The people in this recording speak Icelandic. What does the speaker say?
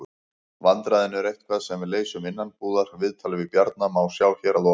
Vandræðin eru eitthvað sem við leysum innanbúðar. Viðtalið við Bjarna má sjá hér að ofan.